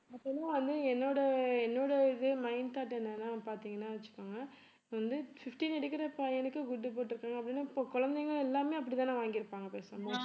பொதுவா வந்து என்னோட என்னோட இது mind thought என்னன்னா பாத்தீங்கன்னா வச்சுக்கோங்க இப்ப வந்து fifteen எடுக்கற பையனுக்கு good போட்டிருக்காங்க அப்படின்னா இப்ப குழந்தைங்க எல்லாமே அப்படித்தானே வாங்கியிருப்பாங்க பேசாம